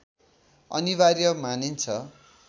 अनिवार्य मानिन्छ